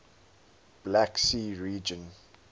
black sea region